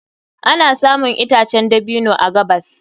Ana samun itacen dabino a gabas.